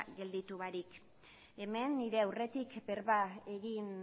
gelditu barik hemen nire aurretik berba egin